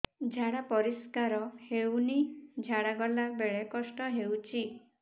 ଝାଡା ପରିସ୍କାର ହେଉନି ଝାଡ଼ା ଗଲା ବେଳେ କଷ୍ଟ ହେଉଚି